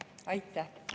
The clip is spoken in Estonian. Aitäh!